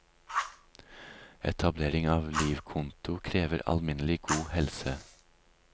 Etablering av livkonto krever alminnelig god helse.